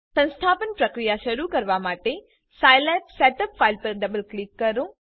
સંસ્થાપન પ્રક્રિયા શરૂ કરવા માટે સાઈલેબ સેટઅપ ફાઈલ પર ડબલ ક્લિક કરો